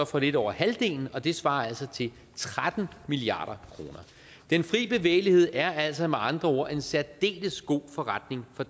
for lidt over halvdelen og det svarer altså til tretten milliard kroner den fri bevægelighed er altså med andre ord en særdeles god forretning for